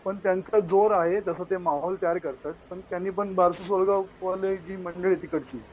पण त्यांचा जोर आहे जसं ते माहोल तयार करतात. पण त्यांनी जी मंडळी आहे तिकडची.